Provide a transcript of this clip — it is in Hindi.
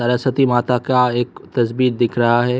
सरस्वती माता का एक तस्वीर दिख रहा है।